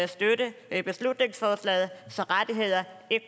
støtte beslutningsforslaget så rettigheder ikke